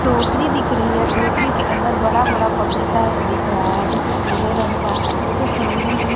टोकरी दिख रही है। टोकरी के अंदर बड़ा-बड़ा पपीता दिख रहा है जो कि पीले रंग का है। उसके सामने ही --